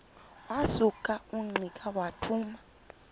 wasuka ungqika wathuma